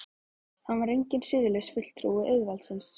Hann var enginn siðlaus fulltrúi auðvaldsins.